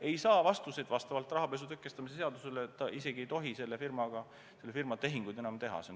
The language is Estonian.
Ei saa vastuseid, siis vastavalt rahapesu tõkestamise seadusele ta isegi ei tohi selle firma tehinguid enam teha.